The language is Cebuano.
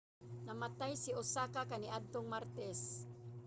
namatay siya sa osaka kaniadtong martes